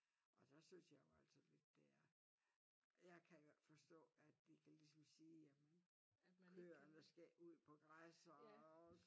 Og der synes jeg jo altså lidt det er. Jeg kan jo ikke forstå at de kan ligesom sige jamen køerne skal ud på græs og